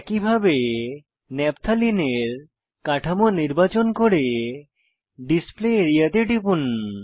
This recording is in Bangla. একইভাবে ন্যাফথালিন এর কাঠামো নির্বাচন করে ডিসপ্লে আরিয়া তে টিপুন